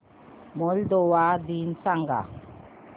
Moldova दिन सांगा